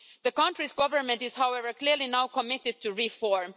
The country's Government is, however, now clearly committed to reform.